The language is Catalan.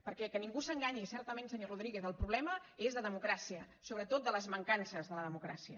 perquè que ningú s’enganyi certament senyor rodríguez el problema és de democràcia sobretot de les mancances de la democràcia